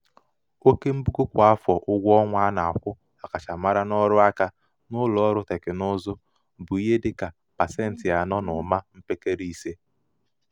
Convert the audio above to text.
oke mbugo kwa afọ ụgwọọnwa a na-akwụ ọkachamara n'ọrụaka n'ụlọọrụ tekinụzụ bụ ihe dị ka pasentị anọ na ụma mpekele ise.